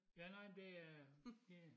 Ja nej men det øh det